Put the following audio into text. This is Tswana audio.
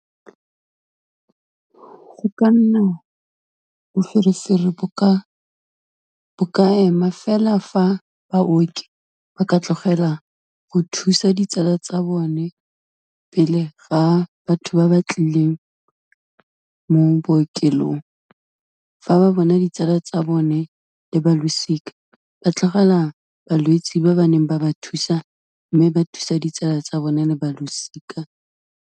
Go ka nna boferefere, bo ka ema fela fa baoki ba ka tlogela go thusa ditsala tsa bone pele ga batho ba ba tlileng mo bookelong. Fa ba bona ditsala tsa bone le balosika ba tlogela balwetsi ba ba neng ba ba thusa, mme ba thusa ditsala tsa bone le balosika.